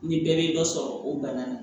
Ni bɛɛ bɛ dɔ sɔrɔ o bana na